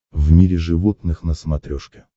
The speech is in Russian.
в мире животных на смотрешке